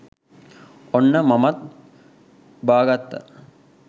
ඔන්න මමත් බාගත්තා